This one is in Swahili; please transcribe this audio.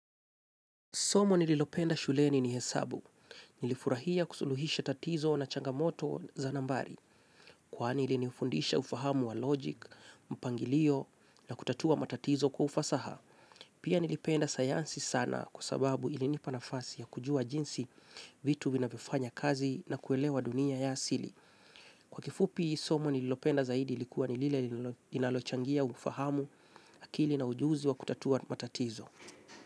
Somo nililopenda shuleni ni hesabu. Nilifurahia kusuluhisha tatizo na changamoto za nambari. Kwani ilinifundisha ufahamu wa logic, mpangilio na kutatua matatizo kufasaha. Pia nilipenda sayansi sana kwa sababu ilinipa nafasi ya kujua jinsi vitu vinavyofanya kazi na kuelewa dunia ya asili. Kwa kifupi somo nililopenda zaidi ilikuwa ni lile inalochangia ufahamu akili na ujuzi wa kutatua matatizo.